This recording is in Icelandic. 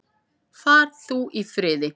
Far þú í friði.